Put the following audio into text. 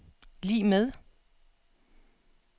lig med